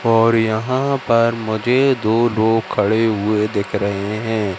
और यहां पर मुझे दो लोग खड़े हुए दिख रहे हैं।